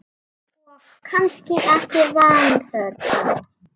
Og kannski ekki vanþörf á.